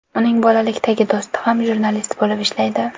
Uning bolalikdagi do‘sti ham jurnalist bo‘lib ishlaydi.